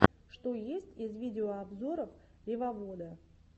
что есть из видеообзоров ревовода